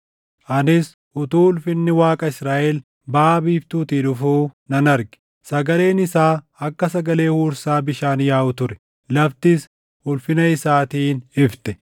anis utuu ulfinni Waaqa Israaʼel baʼa biiftuutii dhufuu nan arge. Sagaleen isaa akka sagalee huursaa bishaan yaaʼuu ture; laftis ulfina isaatiin ifte.